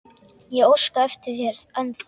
Ég óska eftir þér ennþá.